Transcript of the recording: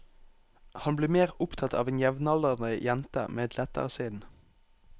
Han blir mer opptatt av en jevnaldrende jente med et lettere sinn.